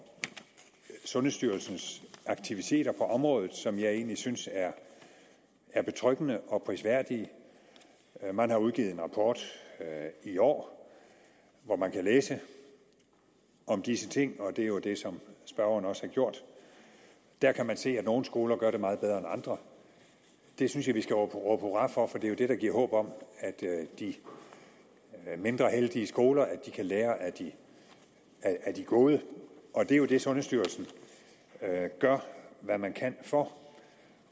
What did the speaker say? sundhedsstyrelsens aktiviteter på området som jeg egentlig synes er betryggende og prisværdige man har udgivet en rapport i år hvor man kan læse om disse ting og det er jo det som spørgeren også har gjort der kan man se at nogle skoler gør det meget bedre end andre det synes jeg vi skal råbe hurra for for det er jo det der giver håb om at de mindre heldige skoler kan lære af af de gode og det er jo det sundhedsstyrelsen gør hvad man kan for